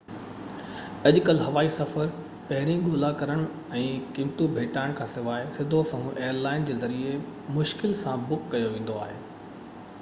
اڄ ڪل هوائي سفر پهرين ڳولا ڪرڻ ۽ قيمتون ڀيٽائڻ کانسواءِ سڌو سنئون ايئر لائن جي ذريعي مشڪل سان بڪ ڪيو ويندو آهي